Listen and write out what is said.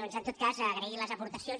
doncs en tot cas agrair les aportacions